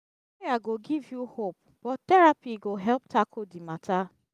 prayer go giv yu hope but therapy go help tackle di mata